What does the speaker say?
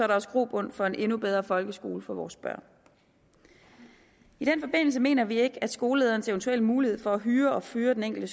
der også grobund for en endnu bedre folkeskole for vores børn i den forbindelse mener vi ikke at skolelederens eventuelle mulighed for at hyre og fyre den enkelte